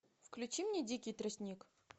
включи мне дикий тростник